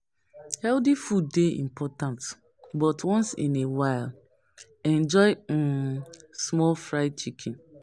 Healthy food dey important, but once in a while, enjoy um small fried chicken.